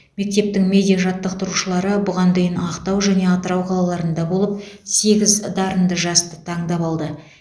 мектептің медиа жаттықтырушылары бұған дейін ақтау және атырау қалаларында болып сегіз дарынды жасты таңдап алды